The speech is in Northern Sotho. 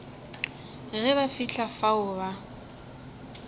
ge ba fihla fao ba